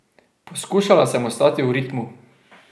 Poskušala sem ostati v ritmu.